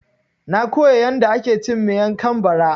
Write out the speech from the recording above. Na koya yanda ake cin Miang kam bara